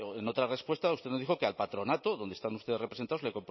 en otra respuesta usted nos dijo que al patronato donde están ustedes representados le